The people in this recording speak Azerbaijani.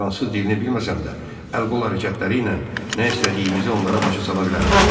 Fransız dilini bilməsən də əl-qol hərəkətləri ilə nə istədiyimizi onlara başa sala bilərəm.